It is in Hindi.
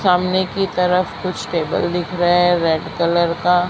सामने की तरफ कुछ टेबल दिख रहे है रेड कलर का--